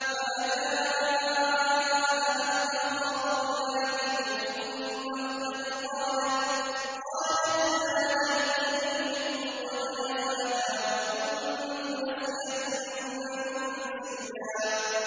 فَأَجَاءَهَا الْمَخَاضُ إِلَىٰ جِذْعِ النَّخْلَةِ قَالَتْ يَا لَيْتَنِي مِتُّ قَبْلَ هَٰذَا وَكُنتُ نَسْيًا مَّنسِيًّا